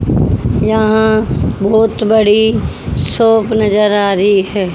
यहां बहोत बड़ी शॉप नजर आ रही है।